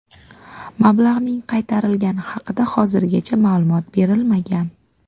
Mablag‘ning qaytarilgani haqida hozirgacha ma’lumot berilmagan.